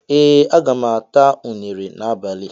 Ee, aga m ata unere n'abalị